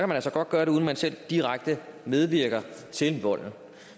man altså godt gøre det uden man selv direkte medvirker til volden